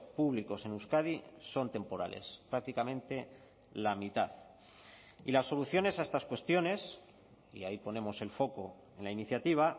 públicos en euskadi son temporales prácticamente la mitad y las soluciones a estas cuestiones y ahí ponemos el foco en la iniciativa